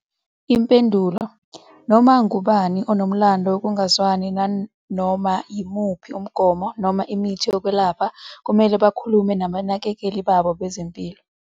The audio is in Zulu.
Impendulo- Noma ngubani onomlando wokungazwani nanoma yimuphi umgomo noma imithi yokwelapha kumele bakhulume nabanakekeli babo bezempilo.